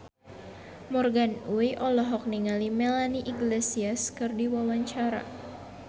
Morgan Oey olohok ningali Melanie Iglesias keur diwawancara